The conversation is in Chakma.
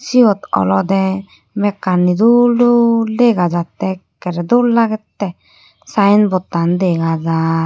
Siyot olode mekkani dol dol dega jatte ekkere dol lagette sign board tan dega jaar.